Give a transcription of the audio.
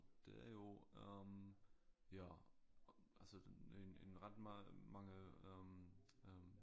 Det er jo øh ja altså en en ret mange øh øh